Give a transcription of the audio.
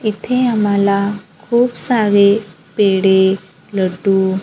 इथे आम्हाला खूप सारे पेढे लड्डू--